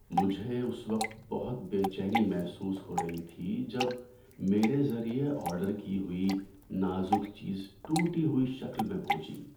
مجھے اس وقت بہت بے چینی محسوس ہو رہی تھی جب میرے ذریعے آرڈر کی ہوئی نازک چیز ٹوٹی ہوئی شکل میں پہنچی۔